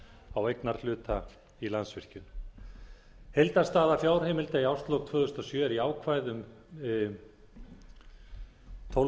á eignarhlutum í landsvirkjun heildarstaða fjárheimilda í árslok tvö þúsund og sjö er jákvæð um tólf